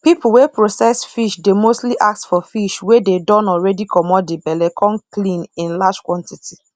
people wey process fish dey mostly ask for fish wey dey don already commot the belle com clean in large quantity